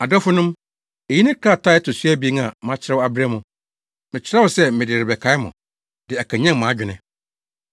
Adɔfonom, eyi ne krataa a ɛto so abien a makyerɛw abrɛ mo. Mekyerɛw sɛ mede rebɛkae mo, de akanyan mo adwene.